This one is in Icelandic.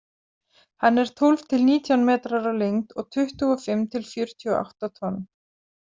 Hann er tólf til nítján metrar á lengd og tuttugu og fimm til fjörutíu og átta tonn.